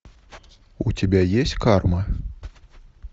у тебя есть карма